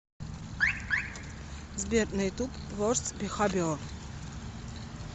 сбер на ютуб ворст бехавиор